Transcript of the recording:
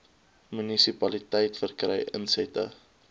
munisipaliteit verkry insette